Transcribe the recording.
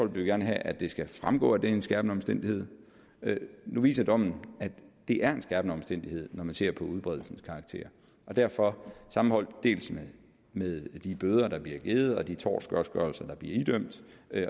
vil gerne have at det skal fremgå at det er en skærpende omstændighed nu viser dommen at det er en skærpende omstændighed når man ser på udbredelsens karakter og derfor sammenholdt med de bøder der bliver givet og de tortgodtgørelser der bliver idømt